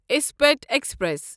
اسپیٹھ express